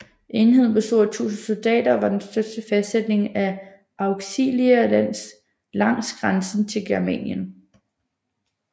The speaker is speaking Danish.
Enheden bestod af 1000 soldater og var den største fæstning af Auxilia langs grænsen til Germanien